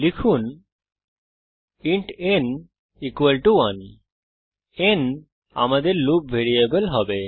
লিখুন int n 1 n আমাদের loop variable হবে